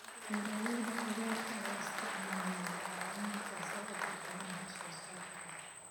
Beeralayda khudaarta ayaa isticmaala bacriminta si ay u kordhiyaan wax soo saarka.